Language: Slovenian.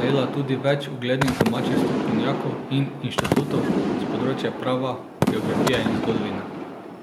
najela tudi več uglednih domačih strokovnjakov in inštitutov s področja prava, geografije in zgodovine ...